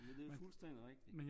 Det er fuldstændig rigtigt